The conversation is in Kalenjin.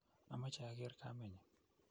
amache ager kamenyu